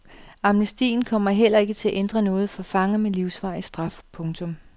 Amnestien kommer heller ikke til at ændre noget for fanger med livsvarig straf. punktum